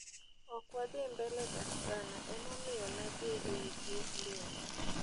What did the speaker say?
okadwadhii mbele dak sana, emomiyo nadhii eiy bur liel.